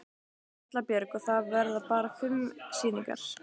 Erla Björg: Og það verða bara fimm sýningar?